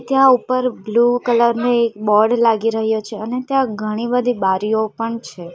ત્યાં ઉપર blue colour નું એક બોર્ડ લાગી રહ્યું છે અને ત્યાં ઘણી બધી બારીઓ પણ છે.